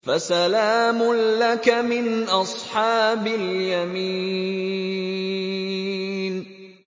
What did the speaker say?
فَسَلَامٌ لَّكَ مِنْ أَصْحَابِ الْيَمِينِ